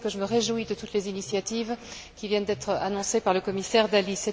J'ajoute que je me réjouis de toutes les initiatives qui viennent d'être annoncées par le commissaire Dalli.